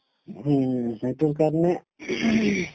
হুম, সেইটোৰ কাৰণে